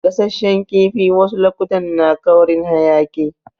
Gasashen kifi wasu lokutan na ƙaurin hayaki.